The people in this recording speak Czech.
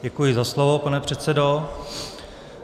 Děkuji za slovo, pane předsedo.